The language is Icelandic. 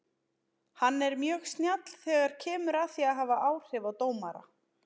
Hann er mjög snjall þegar kemur að því að hafa áhrif á dómara.